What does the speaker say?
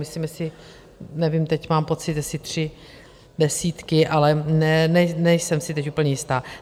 Myslím si, nevím, teď mám pocit, jestli tři desítky, ale nejsem si teď úplně jistá.